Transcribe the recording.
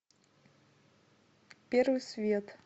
первый свет